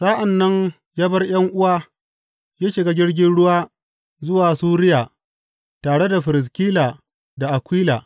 Sa’an nan ya bar ’yan’uwa ya shiga jirgin ruwa zuwa Suriya tare da Firiskila da Akwila.